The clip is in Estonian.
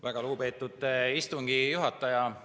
Väga lugupeetud istungi juhataja!